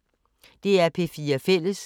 DR P4 Fælles